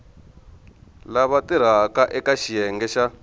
lava tirhaka eka xiyenge xa